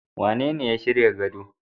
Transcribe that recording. Wanene ya shirya gado.